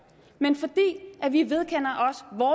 vi vedkender